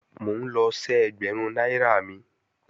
Mò ń lọ ṣẹ́ ẹgbẹ̀rún náírà mi